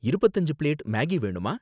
இருபத்து அஞ்சு plate Maggi வேணுமா